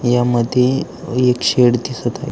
या मध्ये एक शेड दिसत आहे.